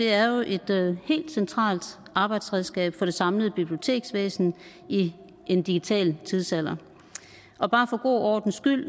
er jo et helt centralt arbejdsredskab for det samlede biblioteksvæsen i en digital tidsalder og bare for god ordens skyld